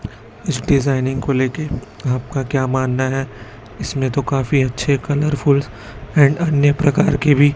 इस डिजाइनिंग को लेके आपका क्या मानना है? इसमें तो काफी अच्छे कलरफुल्स हैं। अन्य प्रकार के भी--